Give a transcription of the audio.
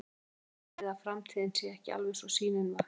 Er ekkert vonbrigði að framtíðin sé ekki alveg eins og sýnin var?